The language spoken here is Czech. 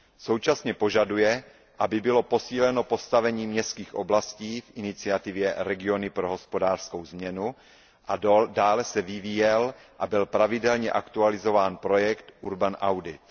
Současně požaduje, aby bylo posíleno postavení městských oblastí v iniciativě Regiony pro hospodářskou změnu a dále se vyvíjel a byl pravidelně aktualizován projekt Urban Audit.